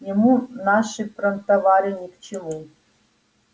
ему наши промтовары ни к чему